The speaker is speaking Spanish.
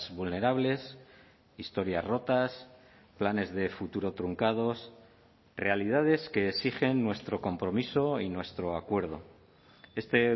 vulnerables historias rotas planes de futuro truncados realidades que exigen nuestro compromiso y nuestro acuerdo este